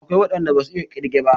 Akwai waɗan da basu iya ƙirge ba.